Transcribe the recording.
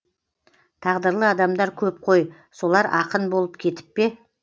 тағдырлы адамдар көп қой солар ақын болып кетіп пе